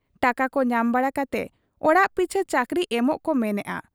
ᱴᱟᱠᱟᱠᱚ ᱧᱟᱢ ᱵᱟᱲᱟ ᱠᱟᱛᱮ ᱚᱲᱟᱜ ᱯᱤᱪᱷᱟᱹ ᱪᱟᱹᱠᱨᱤ ᱮᱢᱚᱜ ᱠᱚ ᱢᱮᱱᱮᱜ ᱟ ᱾